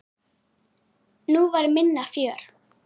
Nú var minna fjör.